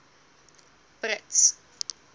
brits